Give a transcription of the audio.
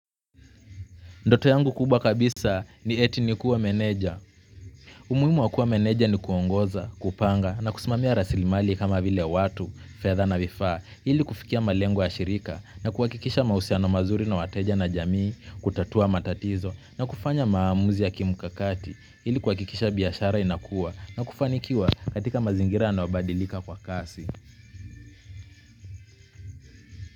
Ndoto yangu kubwa kabisa ni eti nikuwe meneja. Umuhimu wa kuwa meneja ni kuongoza, kupanga na kusumamia rasilimali kama vile watu, fedha na vifaa ili kufikia malengo ya shirika na kuhakikisha mahusiano mazuri na wateja na jamii, kutatua matatizo na kufanya maamuzi ya kimukakati ili biashara inakua na kufanikiwa katika mazingira yanayobadilika kwa kasi.